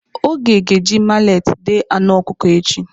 Oge ga-eji maleti deé anu ọkụkọ echi.